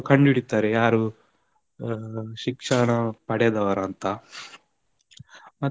ಕಂಡು ಹಿಡಿತಾರೆ ಯಾರು ಶಿಕ್ಷಣ ಪಡೆದವರು ಅಂತ, ಮತ್ತೆ.